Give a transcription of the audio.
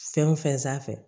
Fɛn o fɛn sanfɛ